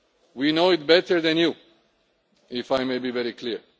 We know it better than you, if I may be very clear.